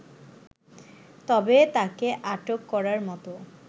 তবে তাকে আটক করার মত